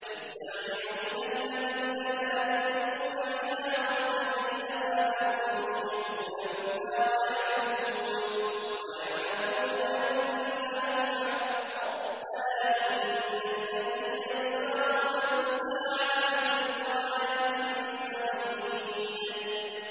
يَسْتَعْجِلُ بِهَا الَّذِينَ لَا يُؤْمِنُونَ بِهَا ۖ وَالَّذِينَ آمَنُوا مُشْفِقُونَ مِنْهَا وَيَعْلَمُونَ أَنَّهَا الْحَقُّ ۗ أَلَا إِنَّ الَّذِينَ يُمَارُونَ فِي السَّاعَةِ لَفِي ضَلَالٍ بَعِيدٍ